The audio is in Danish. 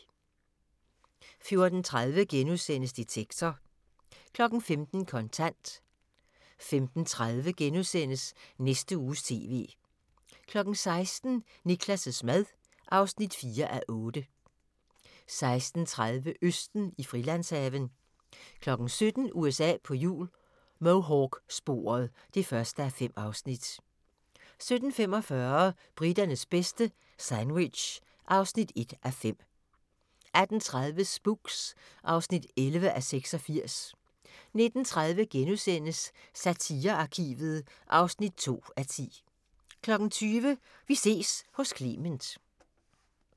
14:30: Detektor * 15:00: Kontant 15:30: Næste Uges TV * 16:00: Niklas' mad (4:8) 16:30: Østen i Frilandshaven 17:00: USA på hjul - Mohawk-sporet (1:5) 17:45: Briternes bedste - sandwich (1:5) 18:30: Spooks (11:86) 19:30: Satirearkivet (2:10)* 20:00: Vi ses hos Clement